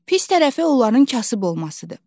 Pis tərəfi onların kasıb olmasıdır.